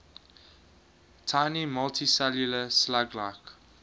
tiny multicellular slug like